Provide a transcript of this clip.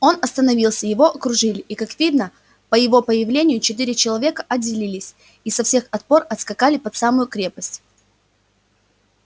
он остановился его окружили и как видно по его появлению четыре человека отделились и со всех отпор отскакали под самую крепость